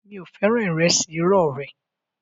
Mi ò fẹ́ ìrẹsì irọ́ rẹ